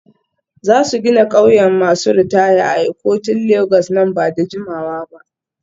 Za su gina ƙauyen masu ritaya a Ikotun Legas nan ba da jimawa ba.